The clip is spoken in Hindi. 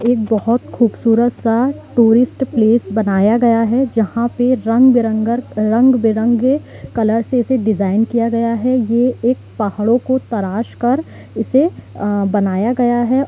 एक बहुत खूबसूरत सा टूरिस्ट प्लेस बनाया गया है जहां पे रंग बिरंगर रंग बिरंगे कलर से इसे डिजाइन किया गया है ये एक पहाड़ों को तरास कर इसे बनाया गया है।